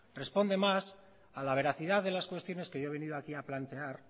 responde más a la veracidad de las cuestiones que yo he venido a aquí a plantear